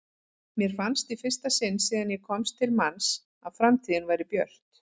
Mér fannst í fyrsta sinn síðan ég komst til manns að framtíðin væri björt.